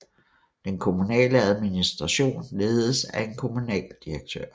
Den kommunale administration ledes af en kommunaldirektør